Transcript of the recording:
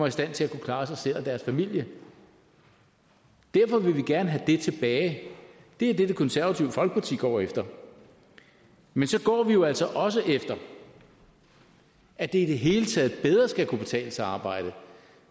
i stand til at kunne klare sig selv og deres familie derfor vil vi gerne have det tilbage det er det det konservative folkeparti går efter man så går vi jo altså også efter at det i det hele taget bedre skal kunne betale sig at arbejde